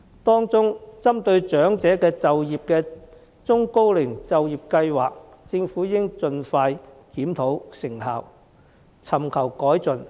當中，針對長者就業的中高齡就業計劃，政府應盡快檢討成效，尋求改進。